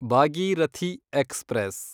Bhagirathi express